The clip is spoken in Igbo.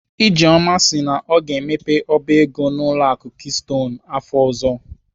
Ijeoma si na ọ ga-emepe ọba ego n'ụlọ akụ keystone afọ ọzọ m